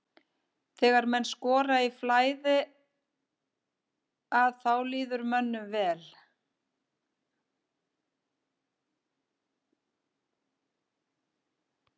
Þegar menn skora í flæði að þá líður mönnum vel.